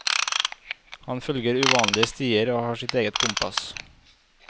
Han følger uvanlige stier, har sitt eget kompass.